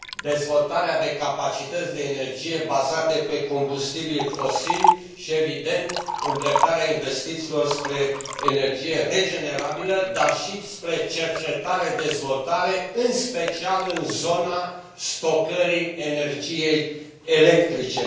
dezvoltarea de capacități de energie bazate pe combustibili fosili și, evident, îndreptarea investițiilor spre energie regenerabilă, dar și spre cercetare-dezvoltare, în special în zona stocării energiei electrice.